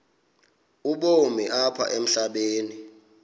ubomi apha emhlabeni